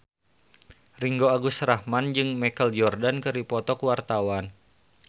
Ringgo Agus Rahman jeung Michael Jordan keur dipoto ku wartawan